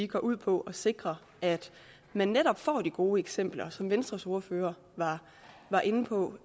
går ud på at sikre at man netop får de gode eksempler som venstres ordfører var inde på